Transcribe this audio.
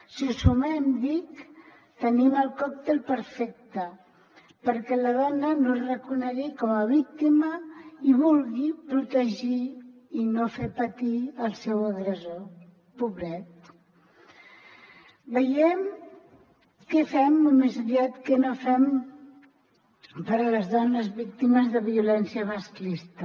si ho sumem dic tenim el còctel perfecte perquè la dona no es reconegui com a víctima i vulgui protegir i no fer patir el seu agressor pobret veiem què fem o més aviat què no fem per les dones víctimes de violència masclista